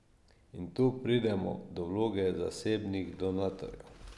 In tu pridemo do vloge zasebnih donatorjev.